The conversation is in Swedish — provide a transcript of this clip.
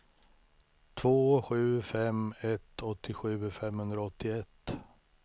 två sju fem ett åttiosju femhundraåttioett